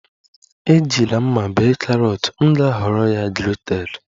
Ejila mma bee carrot, m ga-ahọrọ ya grated